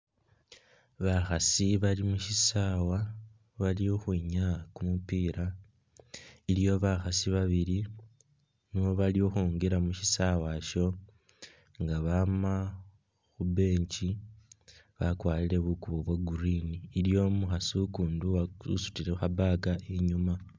Bakhasi bali mushisawa bali khukhwinyaa kumupila aliwo bakhasi babili nga nebali khukhwingila musisawe sho nga bama khu'bench bakwarile bukubo bwa'green iliwo umukhasi ukundi usutile kha'bag inyuma